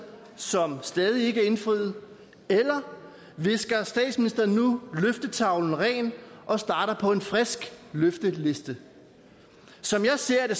som stadig ikke er indfriet eller visker statsministeren nu løftetavlen ren og starter på en frisk løfteliste som jeg ser